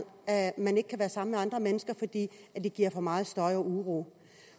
at man ikke kan være sammen med andre mennesker fordi det giver for meget støj og uro